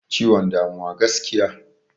Ciwon damuwa gaskiya.